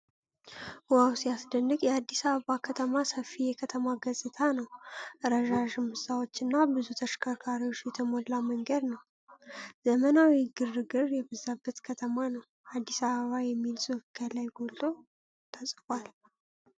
ዋው ሲያስደንቅ! የአዲስ አበባ ከተማ ሰፊ የከተማ ገጽታ ነው። ረዣዥም ህንፃዎችና ብዙ ተሽከርካሪዎች የተሞላ መንገድ ነው። ዘመናዊና ግርግር የበዛበት ከተማ ነው። 'አዲስ አበባ' የሚል ጽሑፍ ከላይ ጎልቶ ተጽፏል።